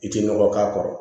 I tɛ nɔgɔ k'a kɔrɔ